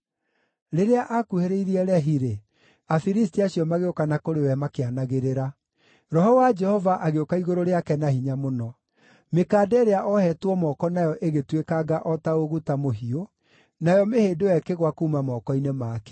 Rĩrĩa aakuhĩrĩirie Lehi-rĩ, Afilisti acio magĩũka na kũrĩ we makĩanagĩrĩra. Roho wa Jehova agĩũka igũrũ rĩake na hinya mũno. Mĩkanda ĩrĩa oohetwo moko nayo ĩgĩtuĩkanga o ta ũguta mũhiũ, nayo mĩhĩndo ĩyo ĩkĩgũa kuuma moko-inĩ make.